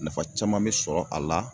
Nafa caman me sɔrɔ a la